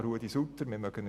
Ruedi Sutter von der FDP.